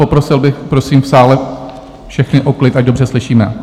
Poprosil bych, prosím v sále všechny o klid, ať dobře slyšíme!